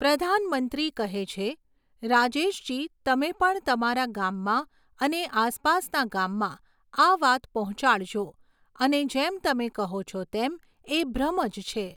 પ્રધાનમંત્રી કહે છે, રાજેશજી તમે પણ તમારા ગામમાં અને આસપાસના ગામમાં આ વાત પહોંચાડજો, અને જેમ તમે કહો છો તેમ, એ ભ્રમ જ છે.